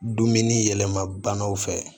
Dumuni yɛlɛma banaw fɛ